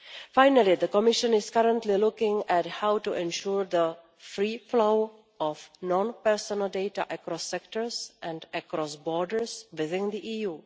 Finally, the Commission is currently looking at how to ensure the free flow of non personal data across sectors and across borders within the EU.